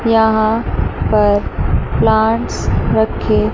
यहां पर प्लांट्स रखें--